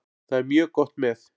Það er mjög gott með.